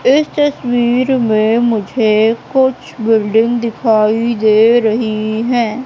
इस तस्वीर में मुझे कुछ बिल्डिंग दिखाई दे रही है।